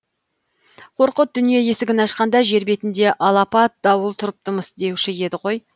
қорқыт дүние есігін ашқанда жер бетінде алапат дауыл тұрыпты мыс деуші еді ғой